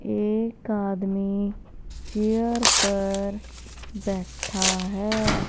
एक आदमी चेयर पर बैठा है।